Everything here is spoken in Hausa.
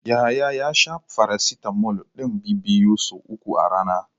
Yahaya ya sha farasitamol ɗin bibbiyu so uku a rana.